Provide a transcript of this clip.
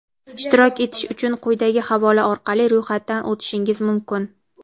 Ishtirok etish uchun quyidagi havola orqali ro‘yxatdan o‘tshingiz mumkin:.